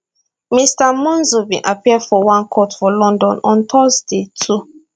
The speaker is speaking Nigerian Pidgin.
mr monzo bin appear for one court for london on thursday 2